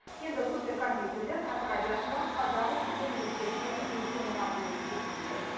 енді суперкомпьютерлер әл фараби атындағы қазақ ұлттық университетіне жыл соңына дейін жеткізілмек